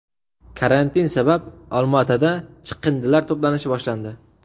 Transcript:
Karantin sabab Olmaotada chiqindilar to‘planishi boshlandi.